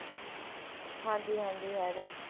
ਹਾਂਜੀ ਹਾਂਜੀ ਹੈਗਾ